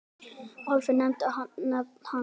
Álfi og nefndi nafn hans.